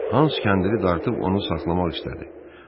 Hans kəndiri dartıb onu saxlamaq istədi.